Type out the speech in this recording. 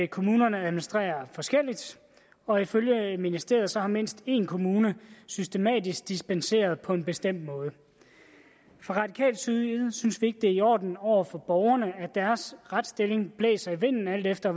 kommunerne administrerer forskelligt og ifølge ministeriet har mindst en kommune systematisk dispenseret på en bestemt måde fra radikal side synes vi ikke det er i orden over for borgerne at deres retstilling blæser i vinden alt efter